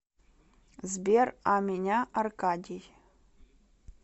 сбер а меня аркадий